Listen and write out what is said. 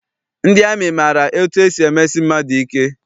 Ndị amị maara etu esi emesi mmadụ ike.